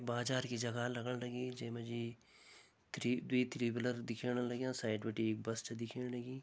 बाजार की जगह लगण लगीं जै मा जी थ्री दुई थ्री व्हीलर दिखेण लग्यां साइड बिटि बस छ दिखेण लगीं।